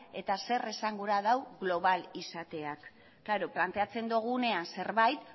eta zer esangura duen global izateak klaro planteatzen dugunean zerbait